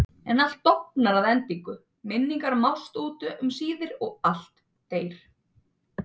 En allt dofnar að endingu, minningar mást út um síðir og allt deyr.